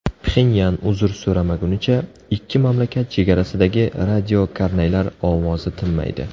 Pxenyan uzr so‘ramagunicha, ikki mamlakat chegarasidagi radiokarnaylar ovozi tinmaydi.